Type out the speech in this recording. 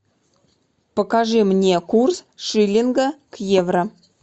покажи мне курс шиллинга к евро